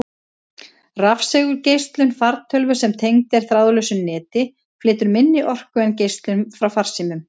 Rafsegulgeislun fartölvu sem tengd er þráðlausu neti, flytur minni orku en geislun frá farsímum.